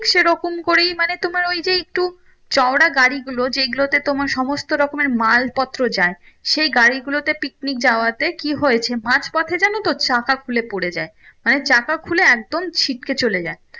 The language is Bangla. সেরকম করেই মানে তোমার ওই যে একটু চৌরা গাড়ি গুলো যেগুলোতে তোমার সমস্ত রকমের মাল পত্র যায় সেই গাড়ি গুলোতে picnic যাওয়াতে কি হয়েছে মাঝ পথে যেন তো চাকা খুলে পরে যায় মানে চাকা খুলে একদম ছিটকে চলে যায়